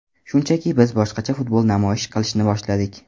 Shunchaki biz boshqacha futbol namoyish qilishni boshladik.